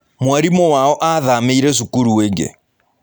Mwarimũ wao aathamĩire cukuru ĩngĩ.